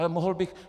Ale mohl bych...